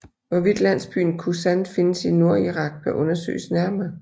Hvorvidt landsbyen Kusan findes i Nordirak bør undersøges nærmere